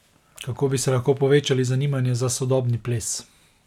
Kako bi se lahko povečali zanimanje za sodobni ples?